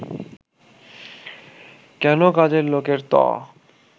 কেন, কাজের লোকের ত